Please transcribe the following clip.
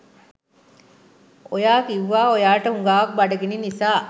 ඔයා කිවුවා ඔයාට හුඟාක් බඩගිනි නිසා